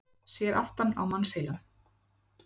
séð aftan á mannsheilann